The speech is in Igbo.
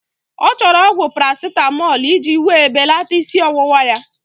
Ọ chọrọ ọgwụ Parasitamọlụ iji wéé belata ísí ọwụwa ya